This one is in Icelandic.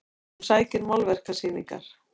Hún sækir málverkasýningar